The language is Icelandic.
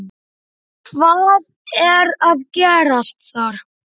Hvað var að gerast þar?